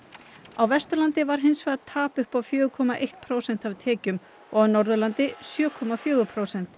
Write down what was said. á Vesturlandi var hins vegar tap upp á fjögur komma eitt prósent af tekjum og á Norðurlandi sjö komma fjögur prósent